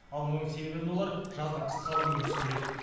ал мұның себебін олар жаздың қысқалығымен түсіндіреді